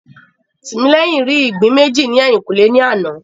Tìmílẹ́yìn rí ìgbín méjì ní ẹ̀yìnkùlé ní àná